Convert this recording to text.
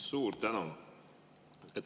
Suur tänu!